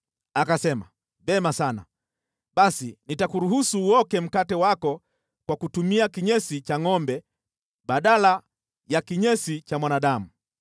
Akasema, “Vema sana, basi nitakuruhusu uoke mkate wako kwa kutumia kinyesi cha ngʼombe badala ya kinyesi cha mwanadamu.”